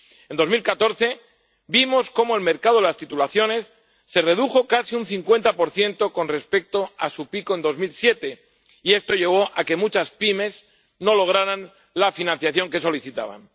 En 2014 vimos cómo el mercado de las titulizaciones se redujo casi un 50 con respecto a su pico de 2007, y esto llevó a que muchas pymes no lograran la financiación que solicitaban.